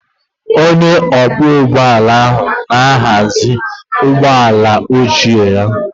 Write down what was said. Onye ọkwọ ụgbọ ala ahụ na-ahazi ụgbọ ala ochie ya